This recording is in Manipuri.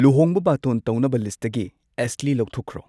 ꯂꯨꯍꯣꯡꯕ ꯕꯥꯇꯣꯟ ꯇꯧꯅꯕ ꯂꯤꯁꯠꯇꯒꯤ ꯑꯦꯁꯂꯤ ꯂꯧꯊꯣꯛꯈ꯭ꯔꯣ